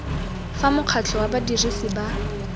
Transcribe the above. fa mokgatlho wa badirisi ba